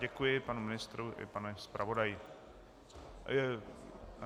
Děkuji panu ministru i panu zpravodaji.